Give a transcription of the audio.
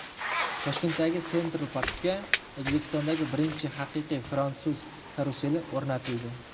Toshkentdagi Central Park’ga O‘zbekistondagi birinchi haqiqiy fransuz karuseli o‘rnatildi.